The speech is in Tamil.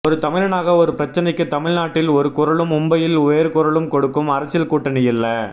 ஒரு தமிழனாக ஒரு பிரச்சனைக்கு தமிழ்நாட்டில் ஒரு குரலும் மும்பையில் வேறு குரலும் கொடுக்கும் அரசியல் கூட்டணியல்ல